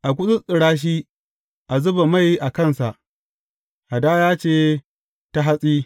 A gutsuttsura shi, a zuba mai a kansa, hadaya ce ta hatsi.